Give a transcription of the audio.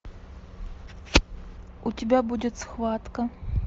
у тебя будет схватка